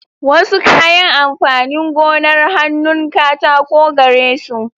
Wasu kayan amfanin gonar hannun katako garesu.